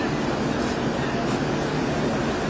Hə, dəqiqdir, dəqiqdir.